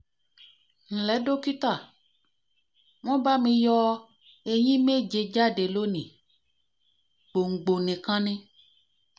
nle dókítà won ba mi yo eyín méje jáde lónìí gbòǹgbò nìkan ni